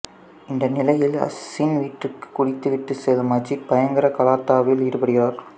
இந்த நிலையில் அசின் வீட்டிற்கு குடித்து விட்டு செல்லும் அஜீத் பயங்கர கலாட்டாவில் ஈடுபடுகிறார்